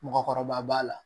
Mɔgɔkɔrɔba b'a la